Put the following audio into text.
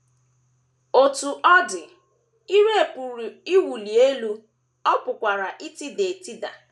Otú ọ dị, ire pụrụ iwuli elu, ọ pụkwara itida etida.